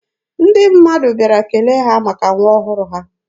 Ndị mmadụ bịara kele ha maka nwa ọhụrụ ha.